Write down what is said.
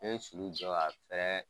Ne ye sulu jɔ